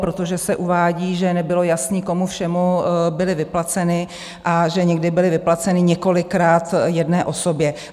Protože se uvádí, že nebylo jasné, komu všemu byly vyplaceny a že někdy byly vyplaceny několikrát jedné osobě.